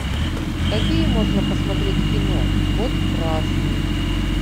какие можно посмотреть кино код красный